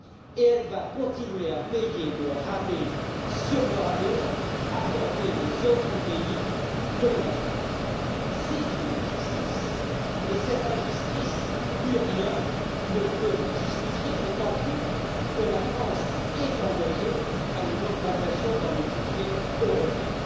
Et elle va continuer à payer le rabais sur le rabais accordé aux autres pays, dont l'Allemagne. C'est une injustice! Et cette injustice, plus rien ne peut la justifier, d'autant plus que la France est engagée dans une augmentation du budget européen.